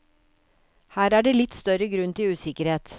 Her er det litt større grunn til usikkerhet.